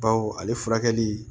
Baw ale furakɛli